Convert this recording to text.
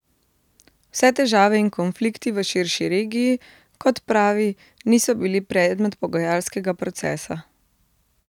Vse težave in konflikti v širši regiji, kot pravi, niso bili predmet pogajalskega procesa.